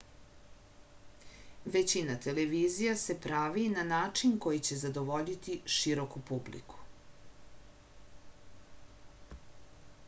većina televizija se pravi na način koji će zadovoljiti široku publiku